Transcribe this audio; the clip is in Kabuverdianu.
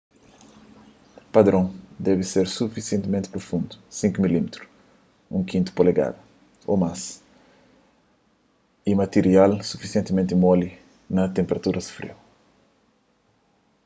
padron debe ser sufisientimenti prufundu 5 mm 1/5 polegadas ô más y matirial sufisientimenti moli na tenperaturas friu